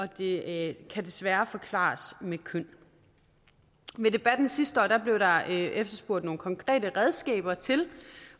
det desværre kan forklares med køn ved debatten sidste år blev der efterspurgt nogle konkrete redskaber til